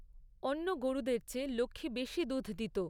অন্য গরুদের চেয়ে লক্ষ্মী বেশী দুধ দিত।